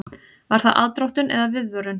Var það aðdróttun eða viðvörun?